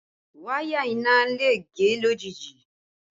Wáyà iná le gé lójijì